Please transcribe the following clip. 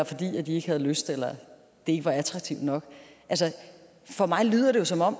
fordi de ikke havde lyst eller det ikke var attraktivt nok for mig lyder det jo som om